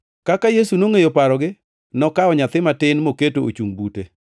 Kaka Yesu nongʼeyo parogi, nokawo nyathi matin mokete ochungʼ bute.